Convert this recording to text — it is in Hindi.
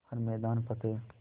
हर मैदान फ़तेह